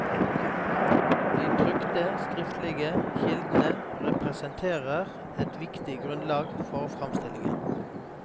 De trykte skriftlige kildene representerer et viktig grunnlag for framstillingen.